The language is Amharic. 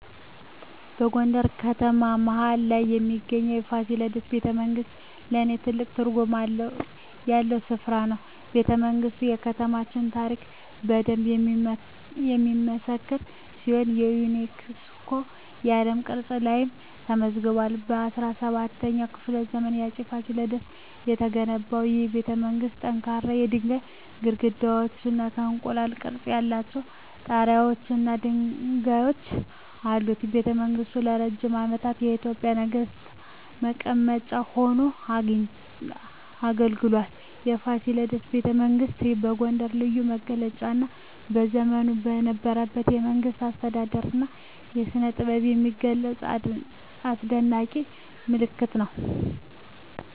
በጎንደር ከተማ መሀል ላይ የሚገኘው የፋሲለደስ ቤተመንግሥት ለኔ ትልቅ ትርጉም ያለው ስፍራ ነው። ቤተመንግስቱ የከተማዋን ታሪክ በደንብ የሚመሰክር ሲሆን የዩኔስኮ የዓለም ቅርስ ላይም ተመዝግቧል። በ17ኛው ክፍለ ዘመን በአፄ ፋሲለደስ የተገነባው ይህ ቤተመንግሥት ጠንካራ የድንጋይ ግድግዳዎች፣ የእንቁላል ቅርፅ ያላቸው ጣራወች እና ድልድዮች አሉት። ቤተመንግሥቱ ለረጅም ዓመታት የኢትዮጵያ ነገሥታት መቀመጫ ሆኖ አገልግሏል። የፋሲለደስ ቤተመንግሥት የጎንደርን ልዩ መገለጫ እና በዘመኑ የነበረውን የመንግሥት አስተዳደር እና ስነጥበብ የሚገልጽ አስደናቂ ምልክት ነው።